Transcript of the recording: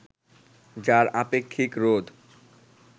যার আপেক্ষিক রোধ